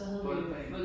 Boldbane